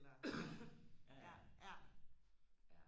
eller ja ja